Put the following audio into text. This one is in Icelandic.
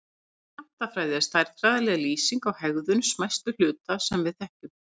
Skammtafræði er stærðfræðileg lýsing á hegðun smæstu hluta sem við þekkjum.